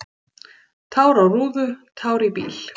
"""Tár á rúðu, tár í bíl."""